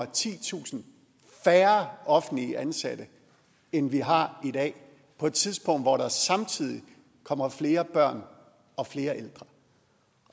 titusind færre offentligt ansatte end vi har i dag på et tidspunkt hvor der samtidig kommer flere børn og flere ældre